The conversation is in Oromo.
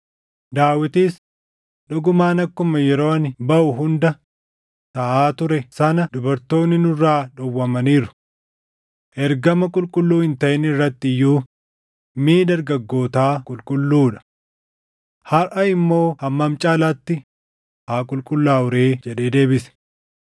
Daawitis, “Dhugumaan akkuma yeroo ani baʼu hunda taʼaa ture sana dubartoonni nurraa dhowwamaniiru. Ergama qulqulluu hin taʼin irratti iyyuu miʼi dargaggootaa qulqulluu dha. Harʼa immoo hammam caalaatti haa qulqullaaʼuu ree!” jedhee deebise.